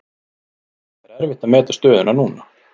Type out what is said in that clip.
Það er erfitt að meta stöðuna núna.